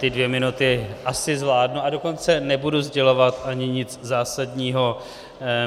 Ty dvě minuty asi zvládnu, a dokonce nebudu sdělovat ani nic zásadního.